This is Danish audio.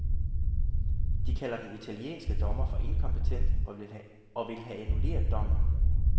De kalder den italienske dommer for inkompetent og vil have annulleret dommen.